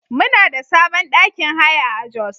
Muna da sabon ɗakin haya a Jos.